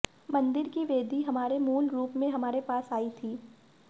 मंदिर की वेदी हमारे मूल रूप में हमारे पास आई थी